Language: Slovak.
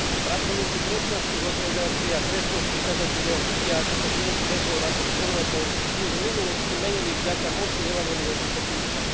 Pracovníci kresťanských organizácií a kresťanskí kazatelia vidia, ako sa životy väzňov naprieč Európou už v minulosti menili vďaka moci evanjelia Ježiša Krista.